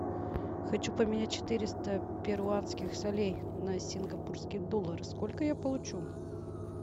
хочу поменять четыреста перуанских солей на сингапурские доллары сколько я получу